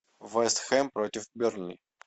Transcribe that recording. вест хэм против бернли